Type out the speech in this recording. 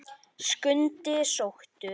Skundi sóttur